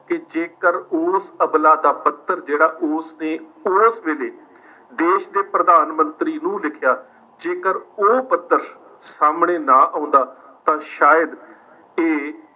ਕਿ ਜੇਕਰ ਉਸ ਅਵਲਾ ਦਾ ਪੱਤਰ ਜਿਹੜਾ ਉਸ ਨੇ ਉਸ ਵੇਲੇ ਦੇਸ਼ ਦੇ ਪ੍ਰਧਾਨ ਮੰਤਰੀ ਨੂੰ ਲਿਖਿਆ, ਜੇਕਰ ਉਹ ਪੱਤਰ ਸਾਹਮਣੇ ਨਾ ਆਉਂਦਾ ਤਾਂ ਸ਼ਾਇਦ ਇਹ